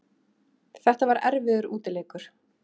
Þetta var erfiður útileikur